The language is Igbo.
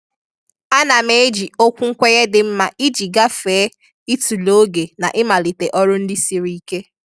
A na m eji okwu nkwenye dị mma iji gafee ịtụle oge na ịmalite ọrụ ndị siri ike.